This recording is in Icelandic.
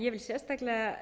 ég vil sérstaklega